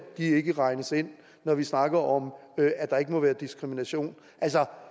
ikke regnes ind når vi snakker om at der ikke må være diskrimination altså